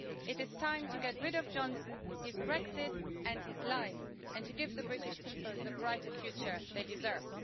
It is time to get rid of Johnson, his Brexit and his lies, and to give the British people the brighter future they deserve.